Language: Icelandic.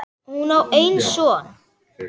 Hún á einn son.